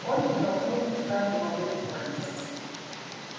он продолжал выпускать дымовые кольца